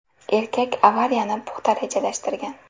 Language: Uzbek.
Erkak avariyani puxta rejalashtirgan.